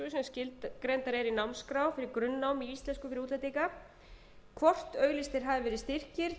eru í námskrá fyrir grunnnám í íslensku fyrir útlendinga hvort auglýstir hafi verið styrkir til